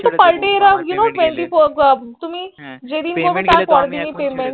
per day এরা You Know Twenty four তুমি যেই দিন করবে তার পর এর দিনেই payment এর জন্য এখনি ছেড়ে দিব